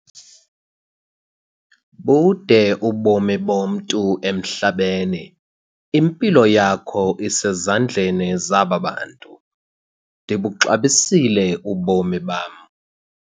Bude ubomi bomntu emhlabeni. impilo yakho isezandleni zaba bantu, ndibuxabisile ubomi bam